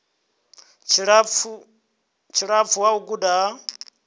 tshilapfu ha u guda ha